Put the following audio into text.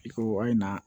I ko a ye na